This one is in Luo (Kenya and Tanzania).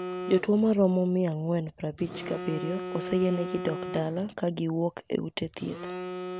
Jotuo maromo mia angwen prabich gi abiryo oseyiengi dok dala kagiwuok e ute thieth